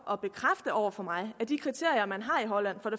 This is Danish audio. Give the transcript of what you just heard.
over for mig at de kriterier man har i holland for